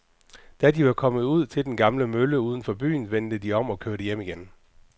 Da de var kommet ud til den gamle mølle uden for byen, vendte de om og kørte hjem igen.